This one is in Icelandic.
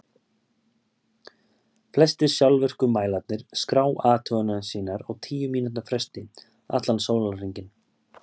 flestir sjálfvirku mælarnir skrá athuganir sínar á tíu mínútna fresti allan sólarhringinn